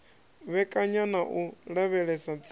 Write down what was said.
vhekanya na u lavhelesa tsiko